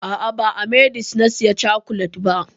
A'a, ba a h-medix na saya cokolet ba.